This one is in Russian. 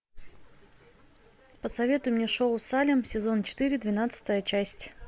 посоветуй мне шоу салем сезон четыре двенадцатая часть